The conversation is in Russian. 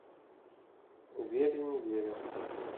верю не верю